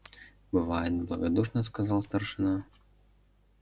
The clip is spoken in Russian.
бывает благодушно сказал старшина